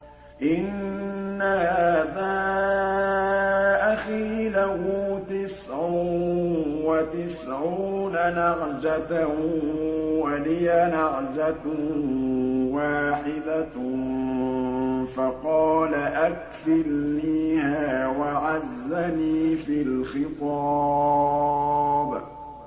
إِنَّ هَٰذَا أَخِي لَهُ تِسْعٌ وَتِسْعُونَ نَعْجَةً وَلِيَ نَعْجَةٌ وَاحِدَةٌ فَقَالَ أَكْفِلْنِيهَا وَعَزَّنِي فِي الْخِطَابِ